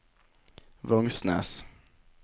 Vangsnes